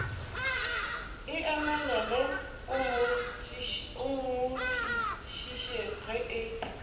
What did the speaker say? emelele o mmotšišitše ge e